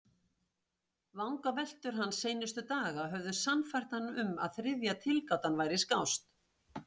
Vangaveltur hans seinustu daga höfðu sannfært hann um að þriðja tilgátan væri skást.